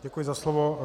Děkuji za slovo.